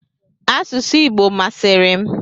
Asụsụ Igbo masịrị m.